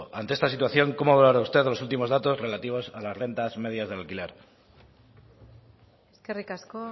ante esta situación cómo valora usted los últimos datos relativos a las rentas medias de alquiler eskerrik asko